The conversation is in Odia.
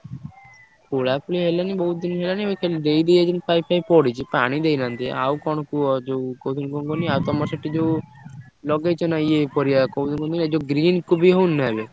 ଖୋଳାଖୋଳି ହେଲାଣି ବହୁତ୍ ଦିନି ହେଲାଣି। ଏବେ ଖାଲି ଦେଇଦେଇ ଯାଇଛନ୍ତି pipe ଫାଇପ ପଡିଛି। ପାଣି ଦେଇନାହାନ୍ତି ଆଉ କଣ କୁହ ଯୋଉ କହୁଥିଲି କଣ କୁହନି ଆଉ ତମର ସେଠି ଯୋଉ ଲଗେଇଚ ନା ଇଏ ପରିବା କହୁଥିଲି କହନି ଏ ଯୋଉ green କୋବି ହଉନି ନା ଏବେ।